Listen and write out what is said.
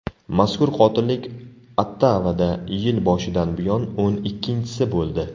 Mazkur qotillik Ottavada yil boshidan buyon o‘n ikkinchisi bo‘ldi.